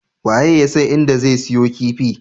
Waye yasan inda zan siyo kifi?